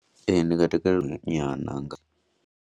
Ee, ndi nga takalela nyana.